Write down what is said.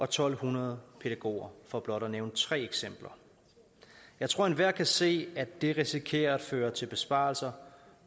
to hundrede pædagoger for blot at nævne tre eksempler jeg tror at enhver kan se at det risikerer at føre til besparelser